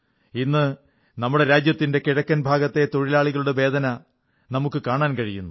ഇന്ന് നമ്മുടെ തൊഴിലാളികളുടെ വേദനയിൽ നമുക്ക് കാണാൻ കഴിയുന്നത് രാജ്യത്തിന്റെ കിഴക്കൻ പ്രദേശത്തിന്റെ വേദനയാണ്